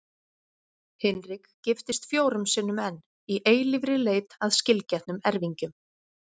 Hinrik giftist fjórum sinnum enn, í eilífri leit að skilgetnum erfingjum.